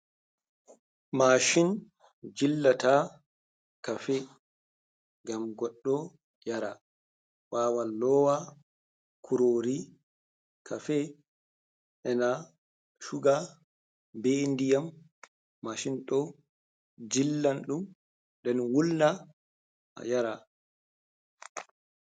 Mashin jillata kafe, gam goɗɗo yara. wawan lowa kurori kafe, e na shuga be ndiyam. Mashin ɗo jillan ɗum den wulna a yara.